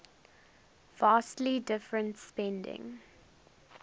vastly different spending